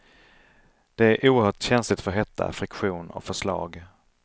Det är oerhört känsligt för hetta, friktion och för slag.